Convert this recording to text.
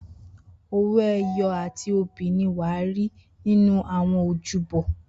Owoeye ati obi wa ni ri ninu awọn ojúbọ.